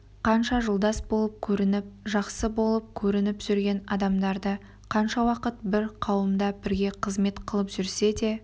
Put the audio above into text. қанша жолдас болып көрініп жақсы болып көрініп жүрген адамдарды қанша уақыт бір қауымда бірге қызмет қылып жүрсе де